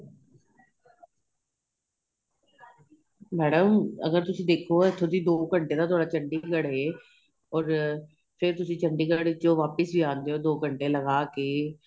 madam ਅਗ਼ਰ ਤੁਸੀਂ ਦੇਖੋ ਇਥੋ ਦੀ ਦੋ ਘੰਟੇ ਦਾ ਤੁਹਾਡਾ ਚੰਡੀਗੜ੍ਹ ਏ ਔਰ ਫ਼ੇਰ ਤੁਸੀਂ ਚੰਡੀਗੜ੍ਹ ਚੋ ਵਾਪਿਸ ਹੀ ਆਦੇ ਹੋ ਦੋ ਘੰਟੇ ਲਗਾਕੇ